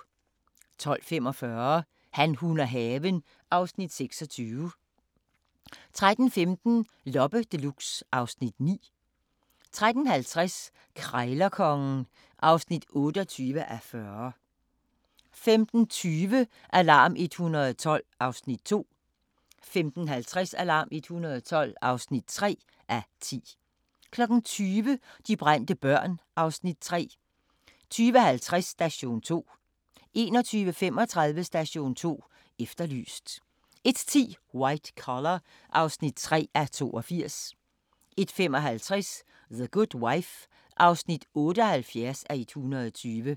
12:45: Han, hun og haven (Afs. 26) 13:15: Loppe Deluxe (Afs. 9) 13:50: Krejlerkongen (28:40) 15:20: Alarm 112 (2:10) 15:50: Alarm 112 (3:10) 20:00: De brændte børn (Afs. 3) 20:50: Station 2 21:35: Station 2 Efterlyst 01:10: White Collar (3:82) 01:55: The Good Wife (78:120)